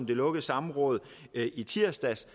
det lukkede samråd i tirsdags